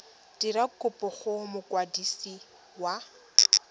dira kopo go mokwadisi wa